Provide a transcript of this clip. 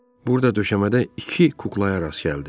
Burda döşəmədə iki kuklaya rast gəldi.